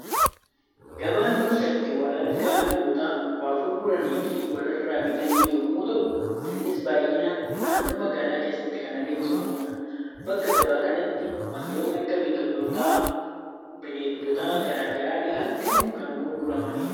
Gabaan bakka itti wal argaa namoota waa gurguranii fi walirraa bitan yemmuu ta'u, innis baayyinaan naannoo magaalaa keessatti kan adeemsifamudha. Bakka gabaa kanatti waantonni akka biqiltoota, Bineeldota garaagaraa dhihaachuun kan gurguramanidha.